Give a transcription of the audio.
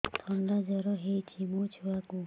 ଥଣ୍ଡା ଜର ହେଇଚି ମୋ ଛୁଆକୁ